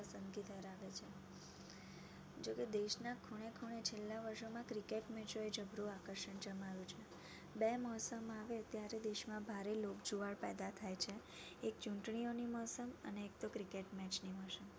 જોકે દેશા ના ખૂણે-ખૂણે છેલ્લા વર્ષો મા cricket match ઓ એ જબ્રુ આકર્ષણ જમાવ્યું છે. બે મોસમ આવે ત્યારે દેશ મા ભારે લોક જુવાળ પેદા થાય છે એક ચૂંટણીઓની મોસમ અને એક તો cricket match ની મોસમ